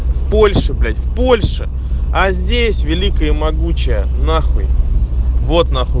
в польше блять в польше а здесь великая и могучая нахуй вот нахуй